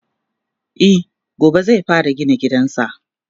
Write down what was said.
e gobe zai fara gina gidansa